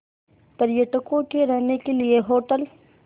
पर्यटकों के रहने के लिए होटल